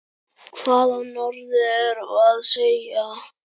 Hvað á norður að segja?